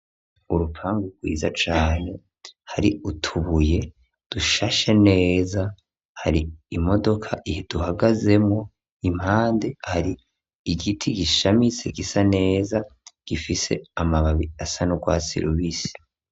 Urupangu rwiza cane hari utubuye dushashe neza hari imodoka iduhagazemo impande hari igiti gishamitse gisa neza gifise amababi asanurwasi rubisi.